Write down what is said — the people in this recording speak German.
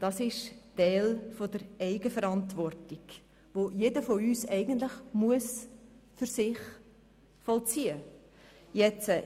Das ist ein Teil der Eigenverantwortung, den jeder von uns für sich vollziehen muss.